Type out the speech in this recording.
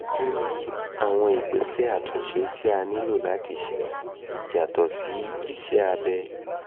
kí ni àwọn ìgbésẹ̀ àtúnṣe tí a nílò láti ṣe yàtọ̀ sí iṣẹ́ abẹ?